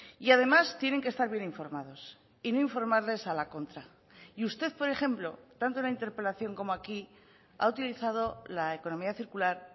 y además tienen que estar bien informados y no informarles a la contra y usted por ejemplo tanto en la interpelación como aquí ha utilizado la economía circular